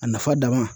A nafa dama